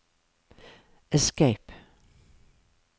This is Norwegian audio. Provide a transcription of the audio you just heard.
escape